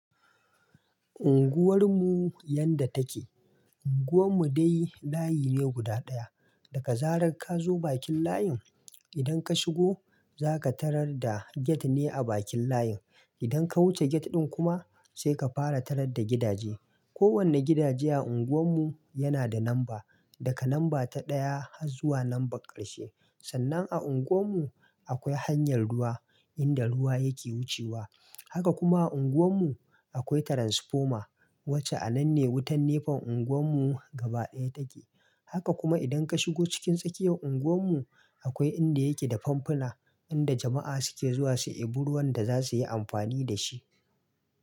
Unguwar mu yanda take. Unguwar mu dai layi ne guda ɗaya. Daka zarar ka zo bakin layin, idan ka shigo zaka tarar da gate ne a bakin layin. Idan ka wuce gate ɗin kuma sai ka fara tarar da gidaje. Ko wanne gidaje a unguwar mu yana da lamba, daga lamba ta ɗaya har zuwa lamba ƙarshe. Sannan a unguwar mu akwai hanyar ruwa inda ruwa yake wucewa. Haka kuma a unguwar mu akwai transformer wacce a nan ne wutan nefon unguwar mu gaba ɗaya take. Haka kuma idan ka shigo cikin tsakiyar unguwar mu akwai inda yake da famfuna inda jama'a suke zuwa su ɓiro wanda za suyi amfani da shi.